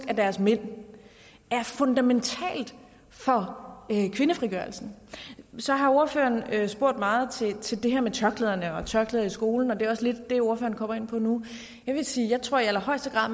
af deres mænd er fundamentalt for kvindefrigørelsen så har ordføreren spurgt meget til til det her med tørklæderne og tørklæder i skolen og det er også lidt det ordføreren kommer ind på nu jeg vil sige at jeg tror i allerhøjeste grad